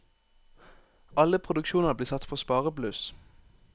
Alle produksjoner blir satt på sparebluss.